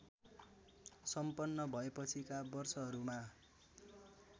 सम्पन्न भएपछिका वर्षहरूमा